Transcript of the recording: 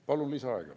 Palun lisaaega.